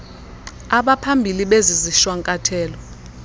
abaphambili bezi zishwankathelo